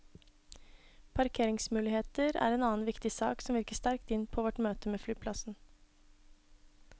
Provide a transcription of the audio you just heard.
Parkeringsmuligheter er en annen viktig sak som virker sterkt inn på vårt møte med flyplassen.